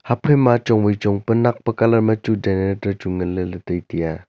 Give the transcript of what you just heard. haphaima ma chong chong pa nak pa colour ma chu generator chu nganle le taitai aa.